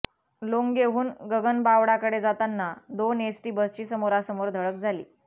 लोंघेहून गगनबावडाकडे जाताना दोन एसटी बसची समोरासमोर धडक झाली